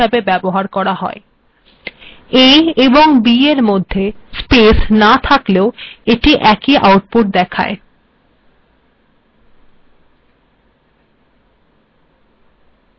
a এবং b এর মধ্যে স্পেস না থাকলেও এটি একই আউটপুট দেয়